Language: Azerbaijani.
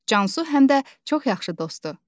Cansu həm də çox yaxşı dostdur.